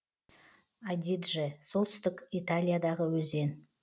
адидже солтүстік италиядағы өзен